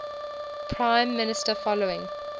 prime minister following